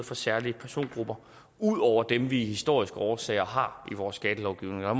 for særlige persongrupper ud over dem som vi af historiske årsager har i vores skattelovgivning og